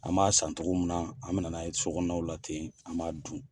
An b'a san cogo min na , an bɛna n'a ye sokɔnɔnaw la ten, an b'a dun.